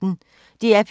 DR P1